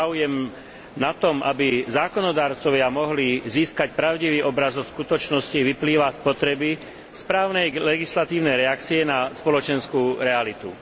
Záujem na tom, aby zákonodarcovia mohli získať pravdivý obraz o skutočnosti, vyplýva z potreby správnej legislatívnej reakcie na spoločenskú realitu.